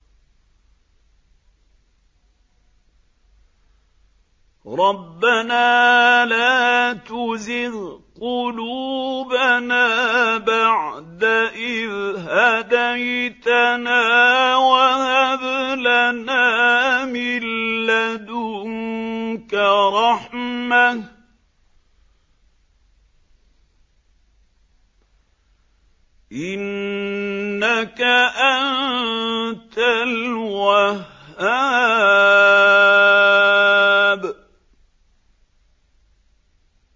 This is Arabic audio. رَبَّنَا لَا تُزِغْ قُلُوبَنَا بَعْدَ إِذْ هَدَيْتَنَا وَهَبْ لَنَا مِن لَّدُنكَ رَحْمَةً ۚ إِنَّكَ أَنتَ الْوَهَّابُ